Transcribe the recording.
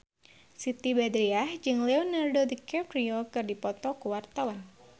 Siti Badriah jeung Leonardo DiCaprio keur dipoto ku wartawan